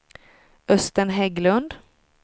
Östen Hägglund